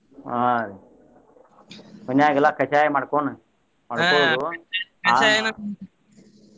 ಹ್ಮ್ ಮನ್ಯಾಗ ಎಲ್ಲಾ ಕಷಾಯ ಮಾಡಕೋನ್ ಮಾಡ್ಕೊದು .